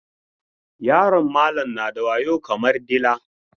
Yaron malam na da wayo kamar dila.